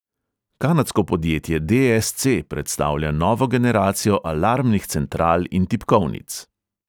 Kanadsko podjetje de|es|ce predstavlja novo generacijo alarmnih central in tipkovnic.